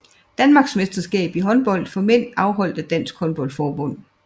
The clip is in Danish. Danmarksmesterskab i håndbold for mænd afholdt af Dansk Håndbold Forbund